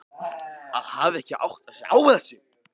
Að hafa ekki áttað sig á þessu!